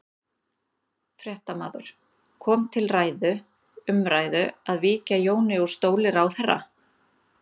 Fréttamaður: Kom til ræðu, umræðu að víkja Jóni úr stóli ráðherra?